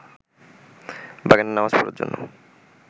বাগানে নামাজ পড়ার জন্য